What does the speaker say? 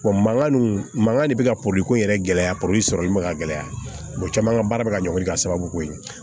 mankan dun mankan de bɛ ka poliko in yɛrɛ gɛlɛya sɔrɔli ma ka gɛlɛya caman ka baara bɛ ka ɲɛ ka sababu k'o ye